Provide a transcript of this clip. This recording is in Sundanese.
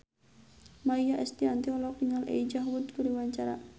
Maia Estianty olohok ningali Elijah Wood keur diwawancara